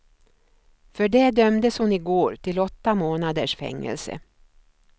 För det dömdes hon i går till åtta månaders fängelse.